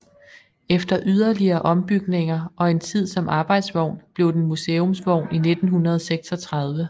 Efter yderligere ombygninger og en tid som arbejdsvogn blev den museumsvogn i 1936